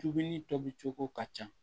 Dumuni tobi cogo ka ca